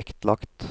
vektlagt.